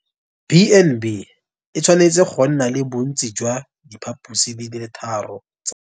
B and B e tshwanetse go nna le bontsi jwa diphaposi di le tharo.